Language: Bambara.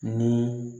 Ni